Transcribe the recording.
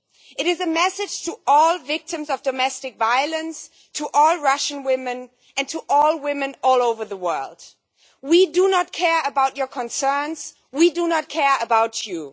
It is a message to all victims of domestic violence, to all Russian women, and to all women all over the world we do not care about your concerns and we do not care about you.